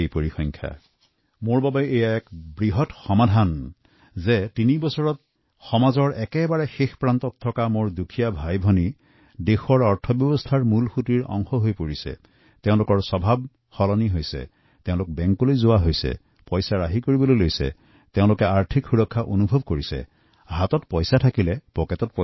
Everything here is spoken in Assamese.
সেয়েহে আজি মোৰ ডাঙৰ সফলতা পোৱা যেন বোধ হয় যে সমাজৰ পিছপৰা শ্ৰেণীৰ দুখীয়া ভাইভনীসকল দেশৰ অৰ্থনীতিৰ মূল সুঁতিত অংশগ্ৰহণ কৰিব পাৰিছে এওঁলোকৰ অভ্যাস সলনি হৈছে নিজৰ অৰ্থনৈতিক সুৰক্ষা কৰিবলৈ শিকিছে বেংকলৈ যোৱা আৰম্ভ কৰিছে জমা কৰিবলৈ শিকিছে